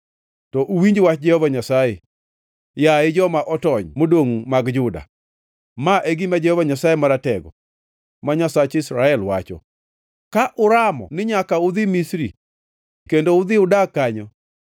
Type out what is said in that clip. to uwinj wach Jehova Nyasaye, yaye joma otony modongʼ mag Juda. Ma e gima Jehova Nyasaye Maratego, ma Nyasach Israel, wacho: ‘Ka uramo ni nyaka udhi Misri kendo udhi udak kanyo,